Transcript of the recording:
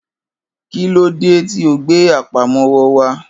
Kí ló dé tí o gbe àpamọ́wọ́ wá̧.